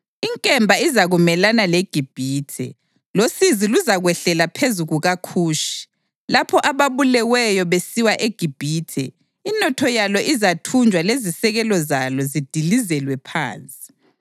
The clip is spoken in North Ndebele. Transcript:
Inkemba izakumelana leGibhithe, losizi luzakwehlela phezu kukaKhushi. Lapho ababuleweyo besiwa eGibhithe inotho yalo izathunjwa lezisekelo zalo zidilizelwe phansi.